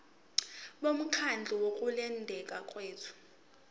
bomkhandlu wokulondeka kwethu